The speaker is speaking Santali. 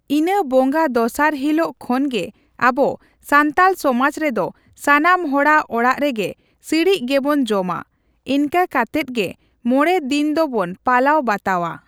ᱤᱱᱟᱹ ᱵᱚᱸᱜᱟ ᱫᱚᱥᱟᱨ ᱦᱤᱞᱟᱹᱜ ᱠᱷᱚᱱᱜᱮ ᱟᱵᱚ ᱥᱟᱱᱛᱟᱞ ᱥᱚᱢᱟᱡᱽ ᱨᱮᱫᱚ ᱥᱟᱱᱟᱢ ᱦᱚᱲᱟᱜ ᱚᱲᱟᱜ ᱨᱮᱜᱮ ᱥᱤᱬᱤᱡ ᱜᱮᱵᱚᱱ ᱡᱚᱢᱟ ᱾ ᱮᱱᱠᱟ ᱠᱟᱛᱮᱫ ᱜᱮ ᱢᱚᱲᱮ ᱫᱤᱱ ᱫᱚᱵᱚᱱ ᱯᱟᱞᱟᱣ ᱵᱟᱛᱟᱣᱟ ᱾